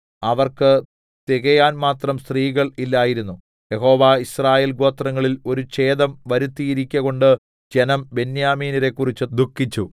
അവർക്ക് തികയാൻ മാത്രം സ്ത്രീകൾ ഇല്ലായിരുന്നു യഹോവ യിസ്രായേൽ ഗോത്രങ്ങളിൽ ഒരു ഛേദം വരുത്തിയിരിക്ക കൊണ്ട് ജനം ബെന്യാമീന്യരെക്കുറിച്ച് ദുഃഖിച്ചു